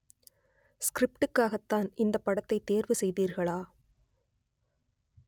ஸ்கிரிப்டுக்காகத்தான் இந்தப் படத்தை தேர்வு செய்தீர்களா